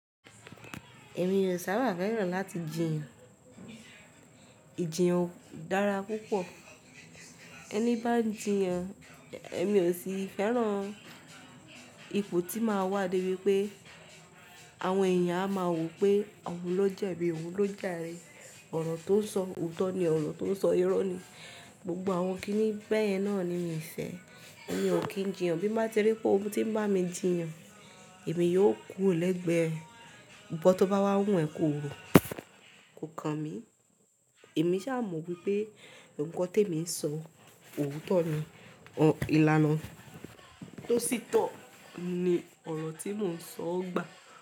Èmi ò sábà fẹ́ràn láti jiyàn. Ìjiyàn dára púpọ̀. Ẹni bá ń jiyàn, èmi ò sì fẹ́ràn ipò tí máa wá dé pé àwọn èèyàn a máa wò pé òun lọ́je bí òun lọ́jà rí, ọ̀rọ̀ tó ń sọ òótọ́ ni, ọ̀rọ̀ tó ń sọ irọ́ ni. Gbogbo àwọn kiní bẹ̀yìn náà ni mí o fẹ̀, èmi ò kí ń jiyàn. Bí máa ti rí pé ohun tí ń bá mi jiyàn, èmi yóò kú ro lẹ́gbẹ ẹ. Ikan tó bá wá wù ẹ́ kó ro, kò kan mi. Èmi sá mo wípé ohun kan tí èmi ń sọ, òótọ́ ni, ìlànà tó sì tọ̀ ni ọ̀rọ̀ tí mò ń sọ gbà.